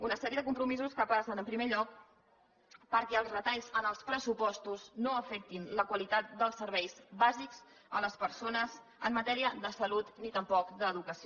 una sèrie de compromisos que passen en primer lloc perquè els retalls en els pressupostos no afectin la qualitat dels serveis bàsics de les persones en matèria de salut ni tampoc d’educació